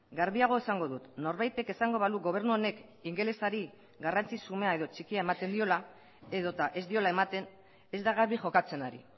garbiago esango dut norbaitek esango balu gobernu honek ingelesari garrantzi xumea edo txikia ematen diola edota ez diola ematen ez da garbi jokatzen ari